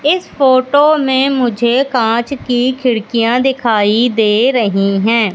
इस फोटो में मुझे कांच की खिड़कियां दिखाई दे रहीं हैं।